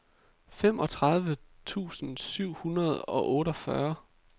femogtredive tusind syv hundrede og otteogfyrre